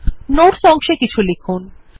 notes অংশে কিছু লিখুন